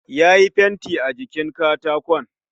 Yayi fenti a jikin katakon